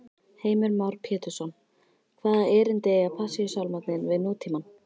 Heimir Már Pétursson: Hvaða erindi eiga Passíusálmarnir við nútímann?